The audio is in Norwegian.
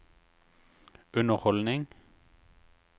underholdning